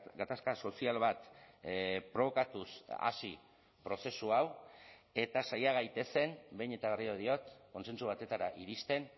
gatazka sozial bat probokatuz hasi prozesu hau eta saia gaitezen behin eta berriro diot kontsentsu batetara iristen